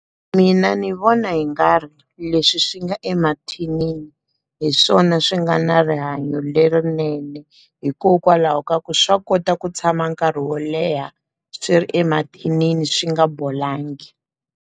Mina ni vona hi nga ri leswi swi nga emathinini hi swona swi nga na rihanyo lerinene hikokwalaho ka ku swa kota ku tshama nkarhi wo leha swi ri emathinini swi nga bolangi.